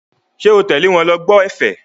Ṣé o tẹ̀lé wọn lọ gbọ́ ẹ̀fẹ̀?